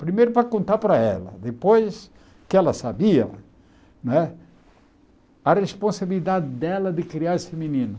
Primeiro para contar para ela, depois que ela sabia não é, a responsabilidade dela de criar esse menino.